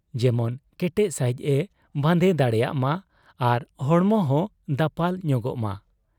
ᱡᱮᱢᱚᱱ ᱠᱮᱴᱮᱡ ᱥᱟᱹᱦᱤᱡ ᱮ ᱵᱟᱸᱫᱮ ᱫᱟᱲᱮᱭᱟᱜ ᱢᱟ ᱟᱨ ᱦᱚᱲᱢᱚᱦᱚᱸ ᱫᱟᱯᱟᱞ ᱧᱚᱜᱚᱜ ᱢᱟ ᱾